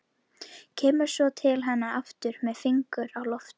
Kemur svo til hennar aftur með fingur á lofti.